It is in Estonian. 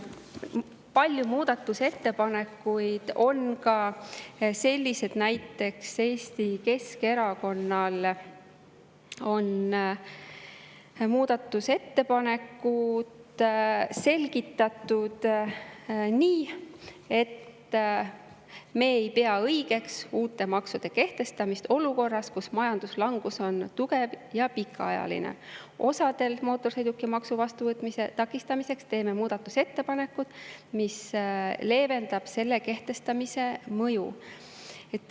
Paljud muudatusettepanekud on ka sellised, et näiteks Eesti Keskerakond on muudatusettepanekut selgitanud nii: me ei pea õigeks uute maksude kehtestamist olukorras, kus majanduslangus on tugev ja pikaajaline; mootorsõidukimaksu vastuvõtmise takistamiseks teeme muudatusettepaneku, mis leevendab osadele selle kehtestamise mõju.